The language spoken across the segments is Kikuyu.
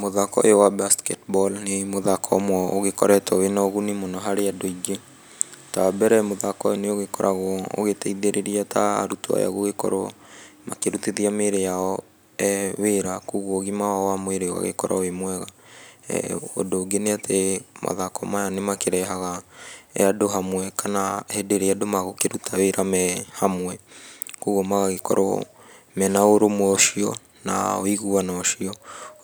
Mũthako ũyũ wa basketball nĩ mũthako ũmwe ũgĩkoretwo wĩ na ũguni mũno harĩ andũ aingĩ, ta wa mbere mũthako ũyũ nĩ ũgĩkoragwo ũgĩtethĩrĩria ta arutwo aya gũgĩkorwo makĩrutithia mĩĩri yao wĩra koguo ũgima wao wa mwĩrĩ ũgagĩkorwo wĩ mwega. Ũndũ ũngĩ ni atĩ mathako maya nĩ makĩrehaga andũ hamwe kana hĩndĩ ĩrĩa andũ magũkĩruta wĩra me hamwe kwoguo magagĩkorwo me na ũrũmwe ũcio na ũiguano ũcio.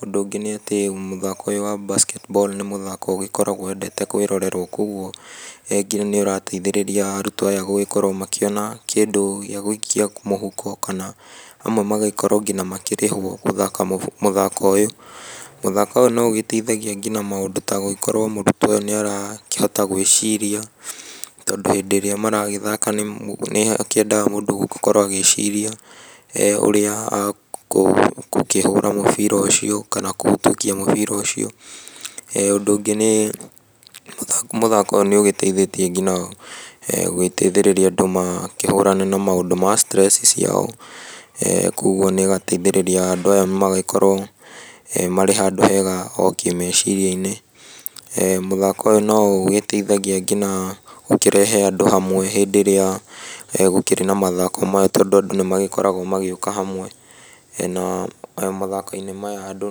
Ũndũ ungĩ nĩ atĩ mũthako ũyũ wa basketball nĩ mũthako ũgĩkoragwo wendete kwĩrorerwo kwoguo nginya nĩ ũrateithĩrĩria arutwo aya gũgĩkorwo makĩona kĩndũ gia gũikia mũhuko kana amwe magagĩkorwo nginya makĩrĩhwo gũthaka mũthako ũyũ. Muthako ũyũ no ũgĩteithagia nginya maũndũ ta gũgĩkorwo mũrutwo ũyũ nĩ arahota gwĩciria tondũ hĩndĩ ĩrĩa maragĩthaka nĩhakĩendaga mũndũ gũkorwo agĩciria ũrĩa agũkĩhũra mũbira ũcio kana kũhĩtũkia mũbira ũcio. Ũndũ ũngĩ nĩ mũthako ũyũ nĩ ũgĩteithĩtie nginya gũgĩteithĩrĩria andũ makĩhũrane na maũndũ ma stress ciao, koguo nĩ ĩgateithĩrĩria andũ aya magagĩkorwo marĩ handũ hega o kĩmeciria-inĩ. Mũthako ũyũ no ũgĩteithagia ngina gũkĩrehe andũ hamwe hĩndĩ ĩrĩa gũkĩrĩ na mathako maya tondũ andũ nĩ magĩkoragwo magĩũka hamwe, na mathako-inĩ maya andũ.